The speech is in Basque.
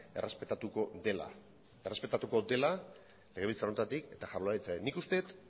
errespetatuko dela errespetatuko dela legebiltzar honetatik eta jaurlaritzatik nik uste dut